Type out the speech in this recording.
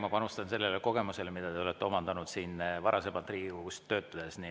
Ma panustan sellele kogemusele, mida sa oled omandanud varasemalt siin Riigikogus töötades.